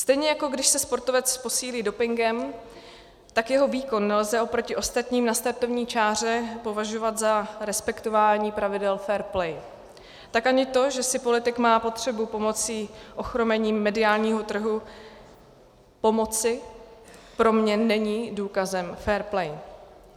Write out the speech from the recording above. Stejně jako když se sportovec posílí dopingem, tak jeho výkon nelze oproti ostatním na startovní čáře považovat za respektování pravidel fair play, tak ani to, že si politik má potřebu pomocí ochromením mediálního trhu pomoci, pro mě není důkazem fair play.